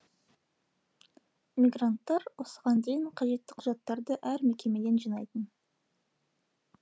мигранттар осыған дейін қажетті құжаттарды әр мекемеден жинайтын